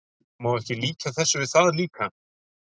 Má ekki líkja þessu við það líka?